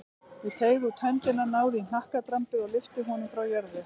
Ég teygði út höndina, náði í hnakkadrambið og lyfti honum frá jörðu.